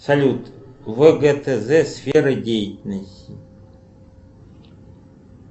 салют вгтз сфера деятельности